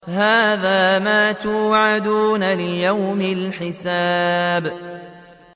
هَٰذَا مَا تُوعَدُونَ لِيَوْمِ الْحِسَابِ